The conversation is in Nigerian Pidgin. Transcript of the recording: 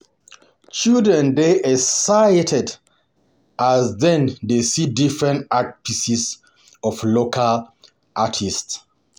Children dey excited as dem dey see different art pieces from local artists.